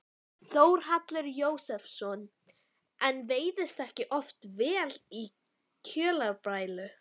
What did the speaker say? Þórhallur Jósefsson: En veiðist ekki oft vel í kjölfar brælu?